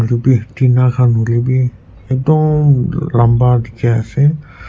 hoilae bi tina khan hoilae bi ekdum lamba dikhiase.